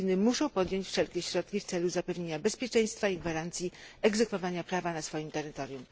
Filipiny muszą podjąć wszelkie środki w celu zapewnienia bezpieczeństwa i gwarancji egzekwowania prawa na swoim terytorium.